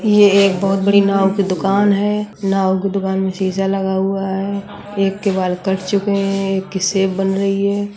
यह एक बहोत बड़ी नाउ की दुकान है। नाउ की दुकान में शीशा लगा हुआ है। एक के बाल कट चुके हैं। एक की शेव बन रही है।